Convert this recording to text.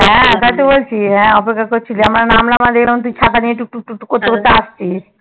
হ্যা তাই তো বলছি হ্যা অপেক্ষা করছিলি আমাদের জন্য আমরা নামলাম আর দেখলাম তুই ছাতা নিয়ে টুকটুক টুকটুক করতে করতে আসছিস